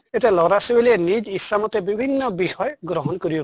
এতিয়া লʼৰা ছোৱালীয়ে নিজ ইচ্ছা মতে বিভিন্ন বিষয় গ্ৰহন কৰিব